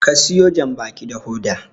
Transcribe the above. ka siyo janbaki da Hoda!